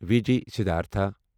V G Siddhartha